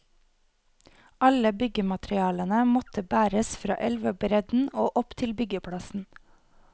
Alle byggematerialene måtte bæres fra elvebredden og opp til byggeplassen.